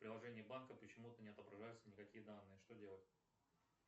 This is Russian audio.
в приложении банка почему то не отображаются никакие данные что делать